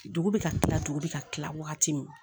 Dugu bɛ ka kila dugu bɛ ka kila wagati min